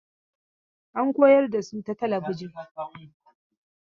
An koyar da su ta talabijin.